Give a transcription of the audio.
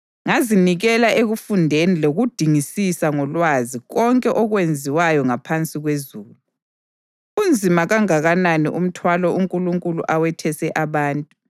Ngazinikela ekufundeni lokudingisisa ngolwazi konke okwenziwayo ngaphansi kwezulu. Unzima kangakanani umthwalo uNkulunkulu awethese abantu!